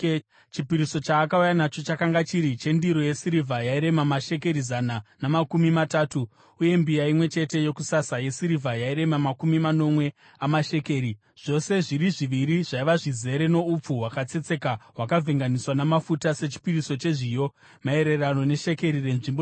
Chipiriso chaakauya nacho chakanga chiri chendiro yesirivha yairema mashekeri zana namakumi matatu, uye mbiya imwe chete yokusasa yesirivha yairema makumi manomwe amashekeri, zvose zviri zviviri zvaiva zvizere noupfu hwakatsetseka hwakavhenganiswa namafuta sechipiriso chezviyo, maererano neshekeri renzvimbo tsvene;